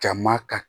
Jama ka